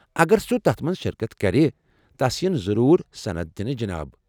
اگر سُہ تتھ منٛز شرکت کرِ تس ین ضروٗر سندٕ دِنہٕ ، جِناب ۔